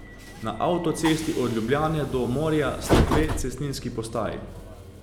Na avtocesti od Ljubljane do morja sta dve cestninski postaji.